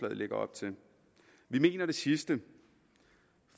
lægger op til vi mener det sidste